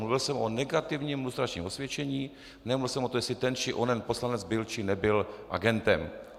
Mluvil jsem o negativním lustračním osvědčení, nemluvil jsem o tom, jestli ten či onen poslanec byl či nebyl agentem.